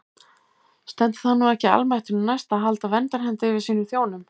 Stendur það nú ekki almættinu næst að halda verndarhendi yfir sínum þjónum?